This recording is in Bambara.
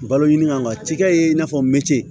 Balo ɲini ka cikɛ ye i n'a fɔ meti